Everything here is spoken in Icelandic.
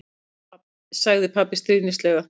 sagði pabbi stríðnislega.